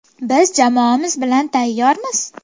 Biz jamoamiz bilan tayyormiz!